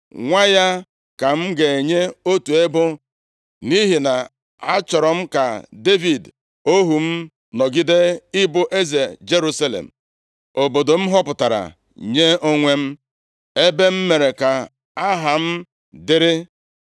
Nwa ya ka m ga-enye otu ebo, nʼihi na achọrọ m ka Devid ohu m nọgide ịbụ eze Jerusalem, obodo m họpụtara nye onwe m, ebe m mere ka Aha m dịrị.